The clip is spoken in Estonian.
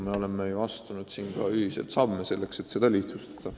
Me oleme astunud ka ühiseid samme, et seda lihtsustada.